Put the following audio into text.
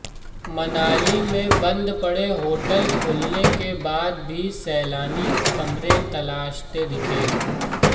मनाली में बंद पड़े होटल खुलने के बाद भी सैलानी कमरे तलाशते दिखे